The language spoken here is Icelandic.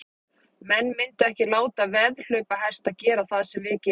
Menn myndu ekki láta veðhlaupahesta gera það sem við gerum.